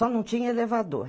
Só não tinha elevador.